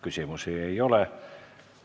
Küsimusi ei ole.